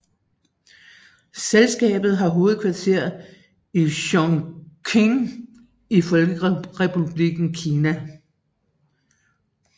Selskabet har hovedkvarter i Chongqing i Folkerepublikken Kina